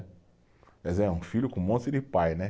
Quer dizer, um filho com um monte de pai, né?